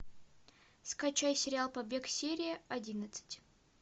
скачай сериал побег серия одиннадцать